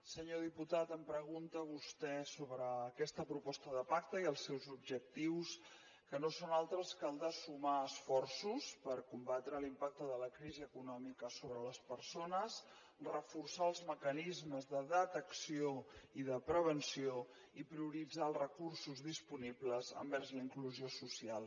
senyor diputat em pregunta vostè sobre aquesta proposta de pacte i els seus objectius que no són altres que els de sumar esforços per combatre l’impacte de la crisi econòmica sobre les persones reforçar els mecanismes de detecció i de prevenció i prioritzar els recursos disponibles envers la inclusió social